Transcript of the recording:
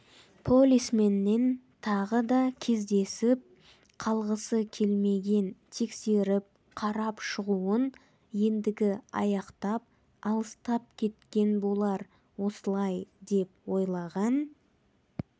полисменмен тағы да кездесіп қалғысы келмеген тексеріп-қарап шығуын ендігі аяқтап алыстап кеткен болар осылай деп ойлаған